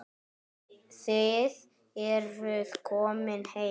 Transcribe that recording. Þið eruð komin heim.